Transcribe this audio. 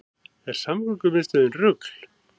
Er samgöngumiðstöðin rugl